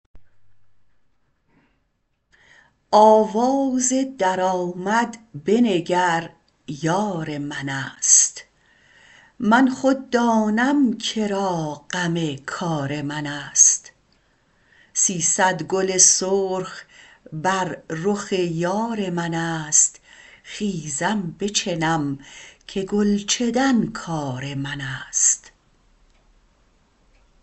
آواز در آمد بنگر یار منست من خود دانم که را غم کار منست سیصد گل سرخ بر رخ یار منست خیزم بچنم که گل چدن کار منست